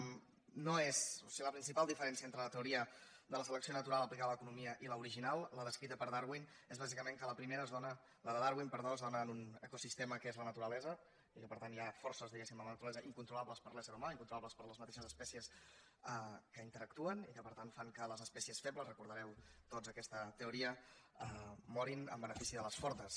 o sigui la principal diferència entre la teoria de la selecció natural aplicada a l’economia i l’original la descrita per darwin és bàsicament que la de darwin es dóna en un ecosistema que és la naturalesa i que par tant hi ha forces diguéssim a la naturalesa incontrolables per l’ésser humà incontrolables per les mateixes espècies que hi interactuen i que per tant fan que les especies febles deveu recordar tots aquesta teoria morin en benefici de les fortes